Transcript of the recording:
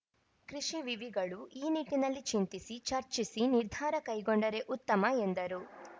ಕೃಷಿ ವಿವಿಗಳು ಈ ನಿಟ್ಟಿನಲ್ಲಿ ಚಿಂತಿಸಿ ಚರ್ಚಿಸಿ ನಿರ್ಧಾರ ಕೈಗೊಂಡರೆ ಉತ್ತಮ ಎಂದರು